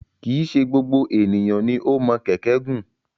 Kì í ṣe gbogbo ènìyàn ni o mọ kẹ̀kẹ́ gùn.